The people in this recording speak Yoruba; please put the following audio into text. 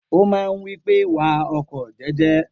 O máa ń wí pé, wa ọkọ̀ jẹ́jẹ́.